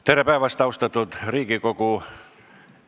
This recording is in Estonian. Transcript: Tere päevast, austatud Riigikogu!